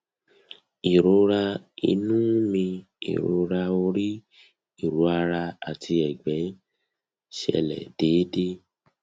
ìrora inú mi ìrora orí ìrora ara àti ìgbẹ ń ṣẹlẹ déédéé